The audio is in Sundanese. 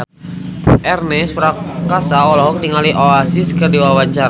Ernest Prakasa olohok ningali Oasis keur diwawancara